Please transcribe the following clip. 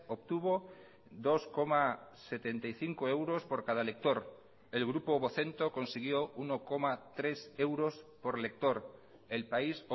obtuvo dos coma setenta y cinco euros por cada lector el grupo vocento consiguió uno coma tres euros por lector el país